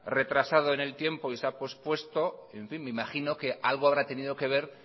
retrasado en el tiempo y se ha pospuesto en fin me imagino que algo habrá tenido que ver